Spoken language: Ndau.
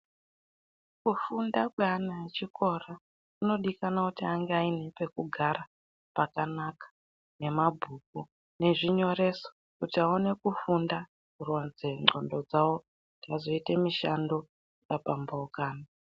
Kufunda kweana echikora kunodikanwa kuti ange aine pekugara pakanaka, nemabhuku nezvinyoreso kuti aone kufunda kurodze ndxondo dzawo vazoite mishando yakapambuka.